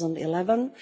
2011.